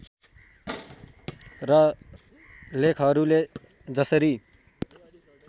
र लेखकहरूले जसरी